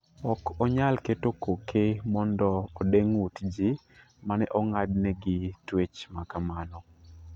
Ok onyal keto koke mondo ode ng'ut ji mane ong'ad ne gi twech ma kamano.